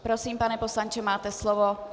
Prosím, pane poslanče, máte slovo.